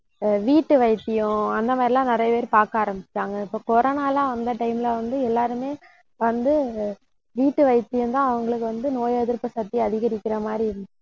வீட்டு வைத்தியம் அந்த மாதிரி எல்லாம் நிறைய பேர் பார்க்க ஆரம்பிச்சுட்டாங்க. இப்ப corona ல்லாம் வந்த time ல வந்து, எல்லாருமே வந்து வீட்டு வைத்தியம்தான் அவங்களுக்கு வந்து நோய் எதிர்ப்பு சக்தியை அதிகரிக்கிற மாதிரி இரு~